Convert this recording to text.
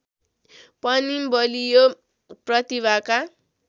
पनि बलियो प्रतिभाका